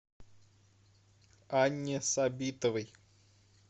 анне сабитовой